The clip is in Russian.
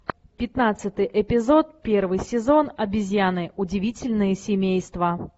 пятнадцатый эпизод первый сезон обезьяны удивительное семейство